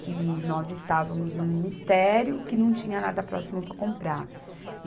que nós estávamos no ministério, que não tinha nada próximo para comprar.